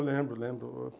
Eu lembro, lembro.